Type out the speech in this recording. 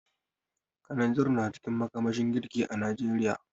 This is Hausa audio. Kananzir na cikin makamashin girki a Najeriya.